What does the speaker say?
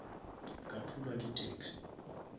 ka thulwa ke taxi